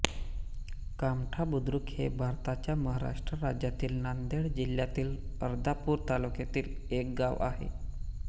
कामठा बुद्रुक हे भारताच्या महाराष्ट्र राज्यातील नांदेड जिल्ह्यातील अर्धापूर तालुक्यातील एक गाव आहे